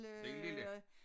Den lille